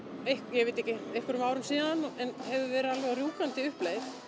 ég veit ekki einhverjum árum síðan en hefur verið á alveg rjúkandi uppleið